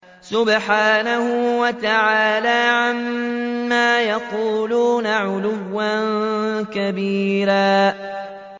سُبْحَانَهُ وَتَعَالَىٰ عَمَّا يَقُولُونَ عُلُوًّا كَبِيرًا